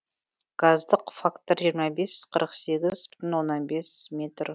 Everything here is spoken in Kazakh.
газдық фактор жиырма бес қырық сегіз бүтін оннан бес метр